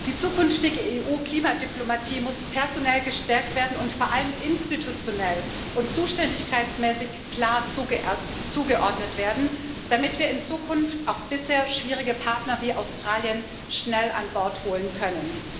Die zukünftige EU Klimadiplomatie muss personell gestärkt werden und vor allem institutionell und zuständigkeitsmäßig klar zugeordnet werden, damit wir in Zukunft auch bisher schwierige Partner wie Australien schnell an Bord holen können.